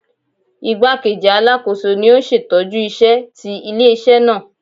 Igbakeji Alakoso ni o n ṣetọju iṣẹ ti ile-iṣẹ naa.